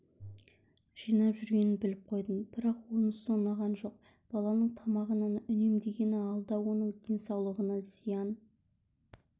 жинап жүргенін біліп қойдым бірақ онысы ұнаған жоқ баланың тамағынан үнемдегені алда оның денсаулығына зиян